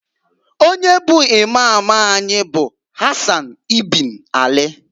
Onye bụ Imam anyị bụ Hasan ibn Ali.